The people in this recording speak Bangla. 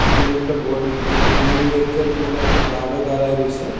এদিকে একটা বডি এ ইউনিয়ন ব্যাংকের মনে হয় একটা গার্ডও দাঁড়ায় রইছে।